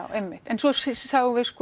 svo sjáum við